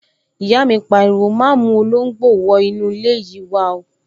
Ìyá mi pariwo, 'má mú olóngbò wọ inú ilé yìí wá